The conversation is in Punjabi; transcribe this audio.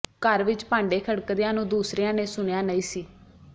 ਘਰ ਵਿੱਚ ਭਾਂਡੇ ਖੜਕਦਿਆਂ ਨੂੰ ਦੂਸਰਿਆਂ ਨੇ ਸੁਣਿਆ ਨਹੀਂ ਸੀ